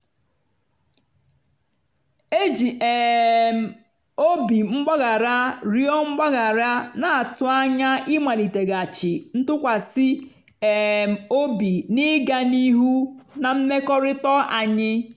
eji um m obi mgbaghara rịọ mgbaghara na-atụ anya ịmaliteghachi ntụkwasị um obi na ịga n'ihu na mmekọrịta anyị.